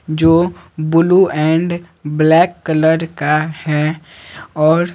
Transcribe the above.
जो blue and black colour का है और--